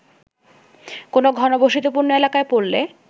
কোন ঘনবসতিপূর্ণ এলাকায় পড়লে